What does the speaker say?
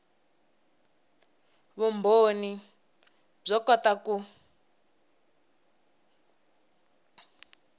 vumbhoni byo kota ku